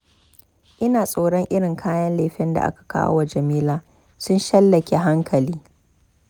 Ina tsoron irin kayan lefen da aka kawo wa Jamila. sun shallake hankali.